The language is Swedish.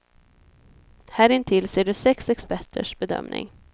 Här intill ser du sex experters bedömning.